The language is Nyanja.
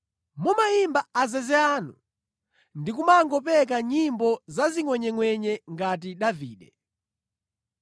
Mumayimba azeze anu ndi kumangopeka nyimbo pa zingʼwenyengʼwenye ngati Davide.